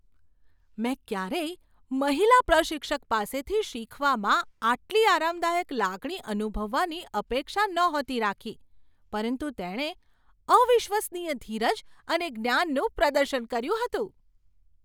મેં ક્યારેય મહિલા પ્રશિક્ષક પાસેથી શીખવામાં આટલી આરામદાયક લાગણી અનુભવવાની અપેક્ષા નહોતી રાખી, પરંતુ તેણે અવિશ્વસનીય ધીરજ અને જ્ઞાનનું પ્રદર્શન કર્યું હતું.